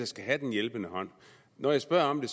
skal have den hjælpende hånd når jeg spørger om